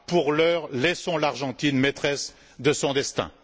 Pour l'heure, laissons l'Argentine maîtresse de son destin.